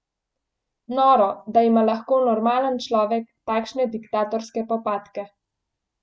Noro, da ima lahko normalen človek takšne diktatorske popadke.